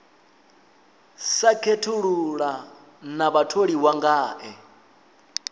sa khethulula na vhatholiwa ngae